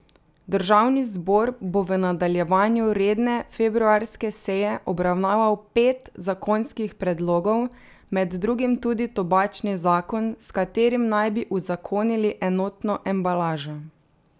Državni zbor bo v nadaljevanju redne februarske seje obravnaval pet zakonskih predlogov, med drugim tudi tobačni zakon, s katerim naj bi uzakonili enotno embalažo.